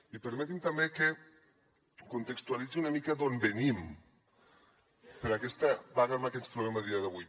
i permeti’m també que contextualitzi una mica d’on venim per aquesta vaga en la que ens trobem a dia d’avui